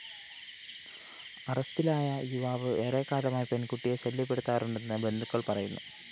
അറസ്റ്റിലായ യുവാവ് ഏറെക്കാലമായി പെണ്‍കുട്ടിയെ ശല്യപ്പെടുത്താറുണ്ടെന്ന് ബന്ധുക്കള്‍ പറയുന്നു